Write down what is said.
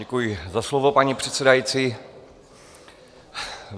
Děkuji za slovo, paní předsedající.